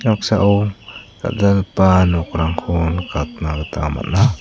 noksao dal·dalgipa nokrangko nikatna gita man·a.